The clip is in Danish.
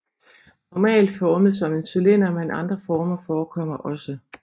Normalt formet som en cylinder men andre former forekommer også